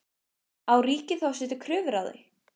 Á ríkið þá að setja kröfur á þau?